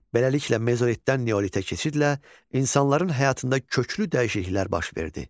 Beləliklə Mezolitdən Neolitə keçidlə insanların həyatında köklü dəyişikliklər baş verdi.